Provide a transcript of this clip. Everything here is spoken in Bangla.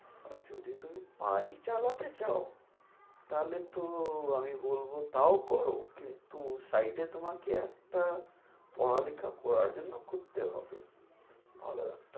আর যদি তুমি বাড়ি চালাতে চাও তাহলে তো আমি বলবো, তাও করো। কিন্তু site এ তোমাকে একটা পড়ালেখা করার জন্য করতে হবে।